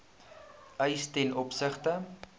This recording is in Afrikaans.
eis ten opsigte